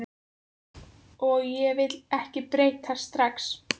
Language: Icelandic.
Og ég vil ekki breytast strax.